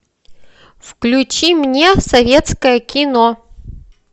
включи мне советское кино